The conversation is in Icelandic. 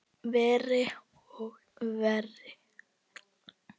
Verri og verri.